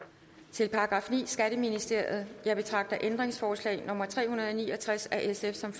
til § niende skatteministeriet jeg betragter ændringsforslag nummer tre hundrede og ni og tres af sf som